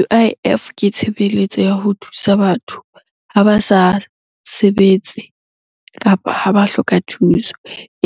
U_I_F ke tshebeletso ya ho thusa batho ha ba sa sebetse, kapa ha ba hloka thuso.